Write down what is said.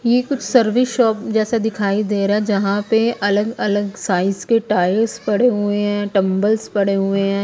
ये कुछ service shop जैसा दिखाई दे रहा है जहां पे अलग-अलग साइज के टायर्स पड़े हुए हैं टंबल्स पड़े हुए हैं ।